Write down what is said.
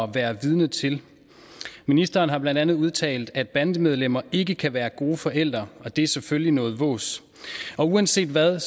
være vidne til ministeren har blandt andet udtalt at bandemedlemmer ikke kan være gode forældre og det er selvfølgelig noget vås uanset hvad